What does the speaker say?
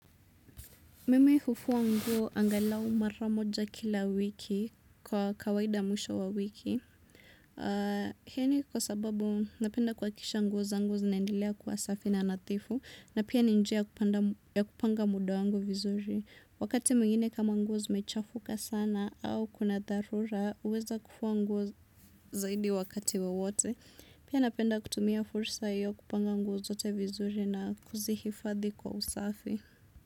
Mimi hufua nguo angalau maramoja kila wiki kwa kawaida mwisho wa wiki. Hini kwa sababu napenda kwa kisha nguo zangu zinaendelea kuwa safi na nathifu na pia ninjia kupanga muda wangu vizuri wakati mwingine kama nguo zimechafuka sana au kuna dharura uweza kufuwa nguo zaidi wakati wewote pia napenda kutumia fursa hiyo kupanga nguo wote vizuri na kuzihifadhi kwa usafi.